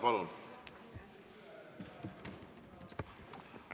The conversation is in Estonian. Palun!